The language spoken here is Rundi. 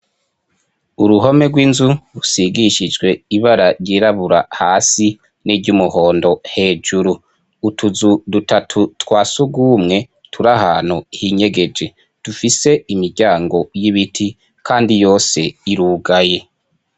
Uruhome rw'inzu rusigishijwe ibara ryirabura hasi niry'umuhondo hejuru, utuzu dutatu twa sugumwe, turahantu hinyegeje dufise imiryango y'ibiti kandi yose irugaye.